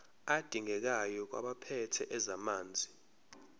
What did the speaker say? adingekayo kwabaphethe ezamanzi